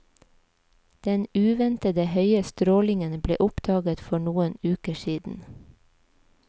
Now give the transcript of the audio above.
Den uventet høye strålingen ble oppdaget for noen uker siden.